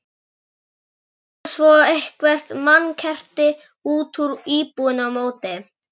Drógu svo eitthvert mannkerti út úr íbúðinni á móti.